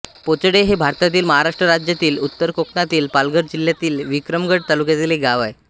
पोचडे हे भारतातील महाराष्ट्र राज्यातील उत्तर कोकणातील पालघर जिल्ह्यातील विक्रमगड तालुक्यातील एक गाव आहे